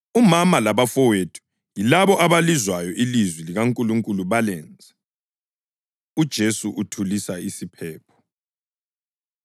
Waphendula wathi, “Umama labafowethu yilabo abalizwayo ilizwi likaNkulunkulu balenze.” UJesu Uthulisa Isiphepho